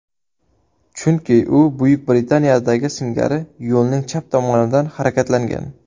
Chunki u Buyuk Britaniyadagi singari yo‘lning chap tomonidan harakatlangan.